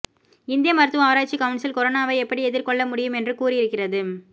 இந்திய மருத்துவ ஆராய்ச்சி கவுன்சில் கொரோனாவை எப்படி எதிர்கொள்ள முடியும் என்று கூறி இருக்கிறது